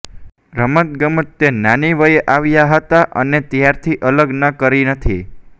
રમતગમત તે નાની વયે આવ્યા હતા અને ત્યારથી અલગ ન કરી નથી